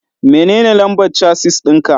Menene lambar casis ɗin ka?